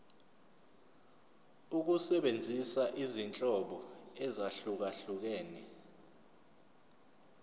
ukusebenzisa izinhlobo ezahlukehlukene